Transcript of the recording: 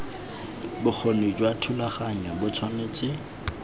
bokgoni jwa thulaganyo bo tshwanetse